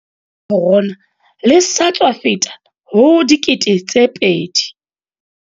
Lenane la batho ba bolailweng ke kokwanahloko ya corona le sa tswa feta ho 2 000.